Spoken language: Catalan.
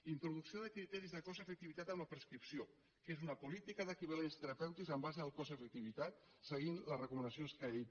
introducció de criteris de cost efectivitat en la prescripció que és una política d’equivalents terapèutics en base al cost efectivitat seguint les recomanacions caib